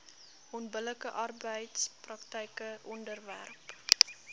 onbillike arbeidspraktyke onderwerp